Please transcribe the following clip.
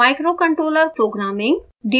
microcontroller programming